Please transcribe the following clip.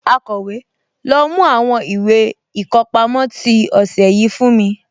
Akọ̀wé, lọ mú àwọn ìwé ìkọpámọ́ tí ọ̀sẹ̀ yìí fún mi?